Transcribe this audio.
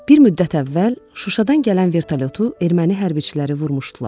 Bir müddət əvvəl Şuşadan gələn vertolyotu erməni hərbçiləri vurmuşdular.